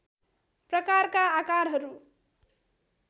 प्रकारका आकारहरू